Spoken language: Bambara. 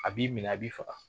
A b'i minɛ a b'i faga .